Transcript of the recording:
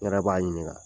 N yɛrɛ b'a ɲininka